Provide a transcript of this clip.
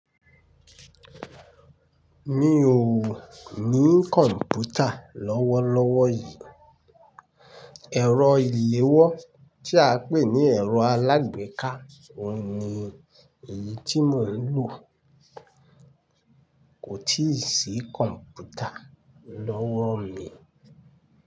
Mi ò ní kọ̀ǹpútà lọ́wọ́lọ́wọ́ yìí. Ẹ̀rọ ìléwọ́ tí a pè ní ẹ̀rọ alágbèéká òun ni èyí tí mò ń lò. Kò tíì sí kọ̀ǹpútà lọ́wọ́ mi.